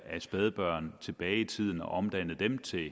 af spædbørn tilbage i tiden og omdannede dem til